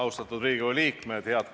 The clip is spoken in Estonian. Lugupeetud Riigikogu liikmed!